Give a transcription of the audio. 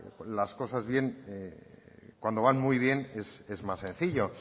las cosas bien cuando van muy bien es más sencillo